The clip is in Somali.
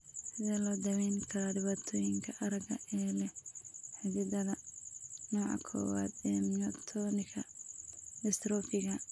Sidee loo daweyn karaa dhibaatooyinka aragga ee la xidhiidha nooca kowaad ee myotonika dystrophiga?